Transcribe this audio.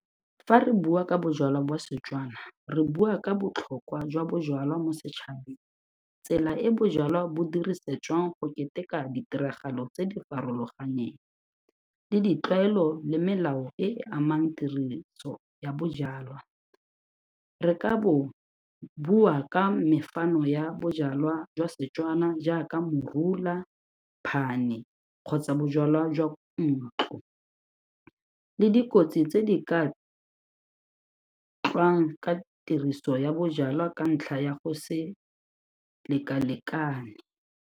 Fa re bua ka bojalwa ba Setswana re bua ka botlhokwa jwa bojalwa mo setšhabeng, tsela e bojalwa bo dirisetswang go keteka ditiragalo tse di farologaneng, le ditlwaelo, le melao e e amang ya bojalwa. Re ka bo bua ka ya bojalwa jwa Setswana jaaka morula, phane kgotsa bojalwa jwa ntlo, le dikotsi tse di ka ka tiriso ya bojalwa ka ntlha ya go se lekalekane.